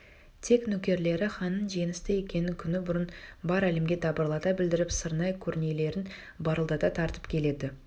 тек нөкерлері ханның жеңісті екенін күні бұрын бар әлемге дабырлата білдіріп сырнай-кернейлерін барылдата тартып келеді